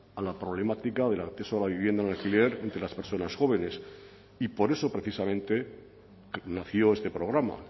a la problemática del acceso a la vivienda en alquiler entre las personas jóvenes y por eso precisamente nació este programa